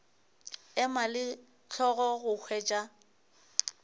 ema le hlogo go hwetša